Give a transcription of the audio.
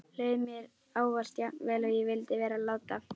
Leið mér ávallt jafn vel og ég vildi vera láta?